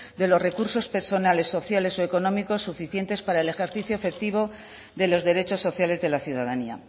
de los recursos personales sociales o económicos suficientes para el ejercicio efectivo de los derechos sociales de la ciudadanía